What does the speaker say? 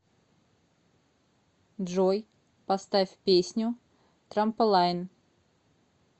джой поставь песню трамполайн